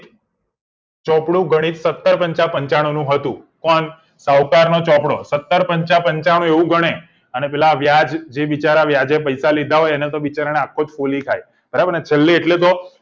ચોપડું ગણિત ચૌદ પંચા પંચાણું નું હતું પણ શાહુકાર નો ચોપડો સતર પંચા પંચાણું એવું ઘણે અને પેલા વ્યાજ જે બિચારા વ્યાજે પૈસા લીધા હોય એને તો બિચારા આખો ફોલી ખાય છેલ્લે એટલું તો